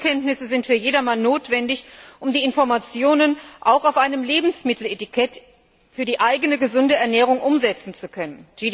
Grundkenntnisse sind für jedermann notwendig, um die Informationen auf einem Lebensmitteletikett auch für die eigene gesunde Ernährung umsetzen zu können.